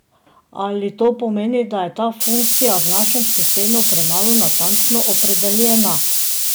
Ali to pomeni, da je ta funkcija v našem sistemu premalo natančno opredeljena?